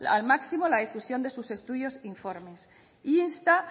al máximo la difusión de sus estudios e informes insta